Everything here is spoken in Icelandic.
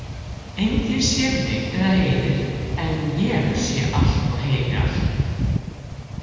Enginn sér mig eða heyrir en ég sé allt, heyri allt.